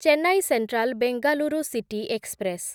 Chennai central Bengaluru city express